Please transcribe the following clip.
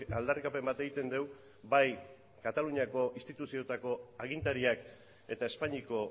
aldarrikapen bat egiten dugu bai kataluniako instituzioetako agintariak eta espainiako